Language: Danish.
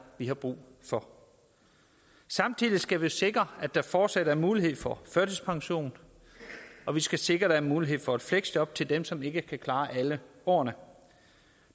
vi har brug for samtidig skal vi jo sikre at der fortsat er mulighed for førtidspension og vi skal sikre at der er mulighed for et fleksjob til dem som ikke kan klare alle årene